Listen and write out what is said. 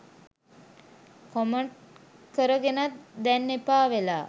Comment කරගෙනත් දැන් එපා වෙලා.